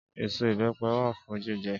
Ésó ibèpè wá fún jijè